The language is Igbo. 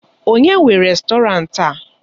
Onye nwe rèstọrantị a?